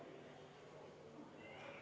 Aitäh!